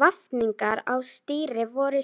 Vafningar á stýri voru